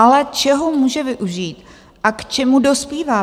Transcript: Ale čeho může využít a k čemu dospívá